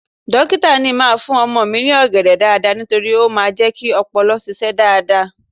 Dókítà ni ń máa fún ọmọ mi ní ọ̀gẹ̀dẹ̀ dáadáa nítorí ó máa ń jẹ́ kí ọpọlọ ṣiṣẹ́ dáadáa